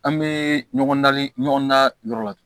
An bɛ ɲɔgɔn da ɲɔgɔn na yɔrɔ la